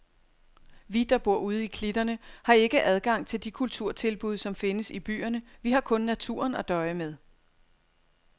Vi, der bor ude i klitterne, har ikke adgang til de kulturtilbud, som findes i byerne, vi har kun naturen at døje med.